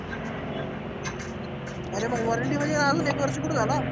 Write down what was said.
आरे मग warranty मध्ये आहे आजुन एक वर्ष कुठ झाला?